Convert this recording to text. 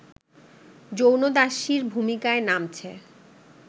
যৌনদাসীর ভূমিকায় নামছে